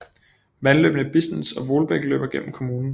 Vandløbene Bisnitz og Wohldbek løber gennem kommunen